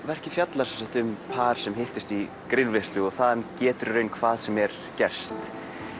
verkið fjalla sem sagt um par sem hittist í grillveislu og þaðan getur í raun hvað sem er gerst